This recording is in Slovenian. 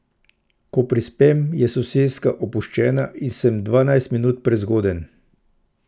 Ko prispem, je soseska opuščena in sem dvajset minut prezgoden.